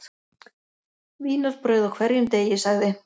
Vínarbrauð á hverjum degi sagði